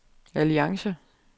alliance